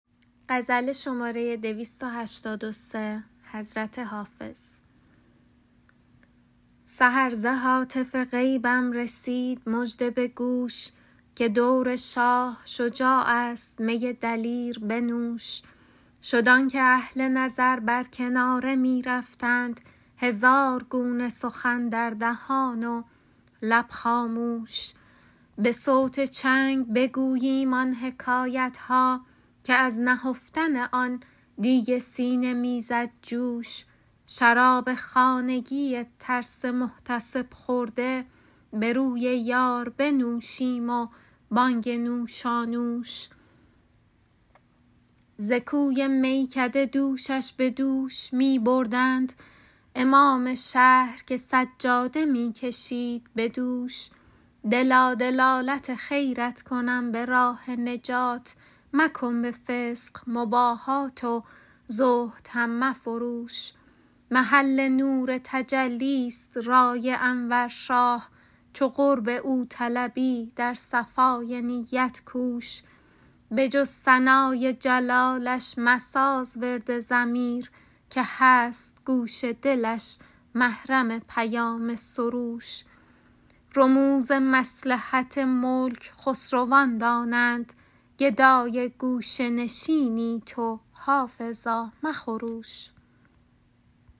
سحر ز هاتف غیبم رسید مژده به گوش که دور شاه شجاع است می دلیر بنوش شد آن که اهل نظر بر کناره می رفتند هزار گونه سخن در دهان و لب خاموش به صوت چنگ بگوییم آن حکایت ها که از نهفتن آن دیگ سینه می زد جوش شراب خانگی ترس محتسب خورده به روی یار بنوشیم و بانگ نوشانوش ز کوی میکده دوشش به دوش می بردند امام شهر که سجاده می کشید به دوش دلا دلالت خیرت کنم به راه نجات مکن به فسق مباهات و زهد هم مفروش محل نور تجلی ست رای انور شاه چو قرب او طلبی در صفای نیت کوش به جز ثنای جلالش مساز ورد ضمیر که هست گوش دلش محرم پیام سروش رموز مصلحت ملک خسروان دانند گدای گوشه نشینی تو حافظا مخروش